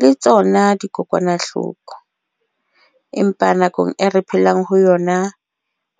le tsona dikokwanahloko. Empa nakong e re phelang ho yona,